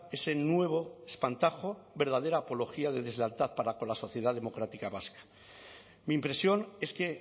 ese nuevo espantajo verdadera apología de deslealtad para con la sociedad democrática vasca mi impresión es que